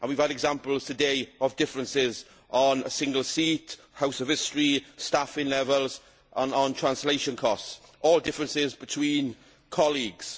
We have had examples today of differences over a single seat, the House of European History, staffing levels and translation costs all differences between colleagues.